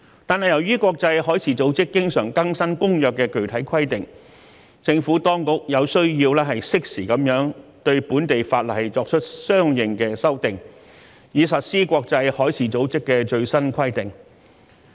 但是，由於國際海事組織經常更新《公約》的具體規定，政府當局有需要適時對本地法例作出相應的修訂，以實施國際海事組織的最新規定。